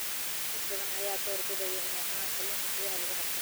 Dad badan ayaa door bida inay cunaan kalluunka gudaha lagu qabto.